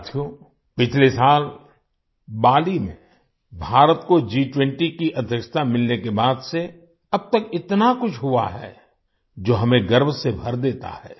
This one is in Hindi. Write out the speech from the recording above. साथियो पिछले साल बाली में भारत को G20 की अध्यक्षता मिलने के बाद से अब तक इतना कुछ हुआ है जो हमें गर्व से भर देता है